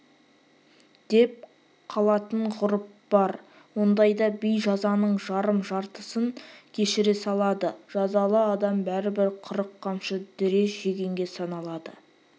деп қалатын ғұрып бар ондайда би жазаның жарым-жартысын кешіре салады жазалы адам бәрібір қырық қамшы дүре жегенге саналады